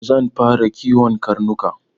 Zan fara kiwon karnuka gobe.